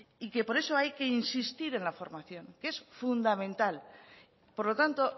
y que por eso hay que insistir en la formación que es fundamental por lo tanto